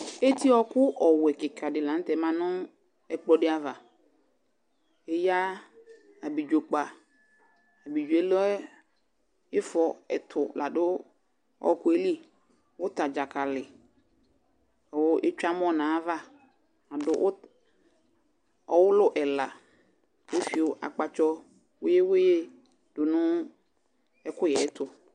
Eti wɔku wuwɛ kika di lanutɛ ma nu ɛkplɔ ava Eya ablidzo kpa ifɔ ɛtu , du ɔwɔku yɛli Ʊta dzakali ku etsue amɔ nu ayava Ɔwulu ɛla kefio akpatsɔ wuli wuli du nu ɛkuyɛtu